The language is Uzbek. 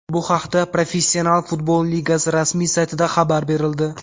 Bu haqda Professional futbol ligasi rasmiy saytida xabar berildi .